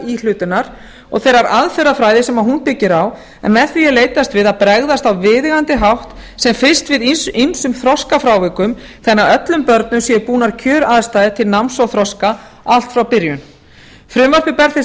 íhlutunar og þeirrar aðferða fræði sem hún byggir á en með því er leitast við að bregðast á viðeigandi hátt sem fyrst við ýmsum þroskafrávikum þannig að öllum börnum séu búa kjöraðstæður til náms og þroska allt frá byrjun frumvarpið